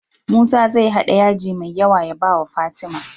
Musa zai hada yaji me yawa ya bawa fatima